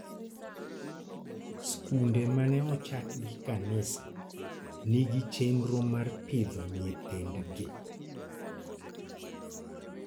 Skunde ma ne ochak gi kanisa nigi chenro mar pidho nyithindgi.